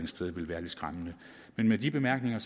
sted ville være lidt skræmmende men med de bemærkninger